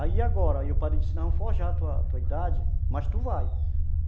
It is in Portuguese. Aí agora, o padre disse, não forjar a tua idade, mas tu vai.